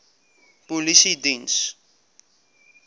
polisiediens